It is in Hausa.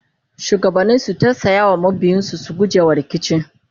shugabanni su tausaya wa mabiyansu su gujewa rikici